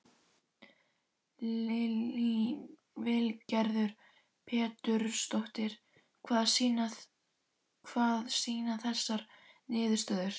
Lillý Valgerður Pétursdóttir: Hvað sýna þessar niðurstöður?